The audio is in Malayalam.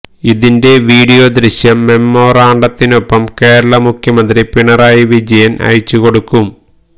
ഇതിന്റെ വീഡിയോ ദൃശ്യം മെമ്മോറാണ്ടത്തിനൊപ്പം കേരള മുഖ്യമന്ത്രി പിണറായി വിജയന് അയച്ചു കൊടുക്കും